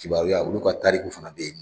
Kibaruya, olu ka tariku fana bɛ yen.